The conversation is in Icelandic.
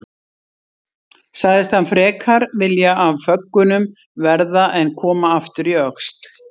Sagðist hann frekar vilja af föggunum verða en koma aftur í Öxl.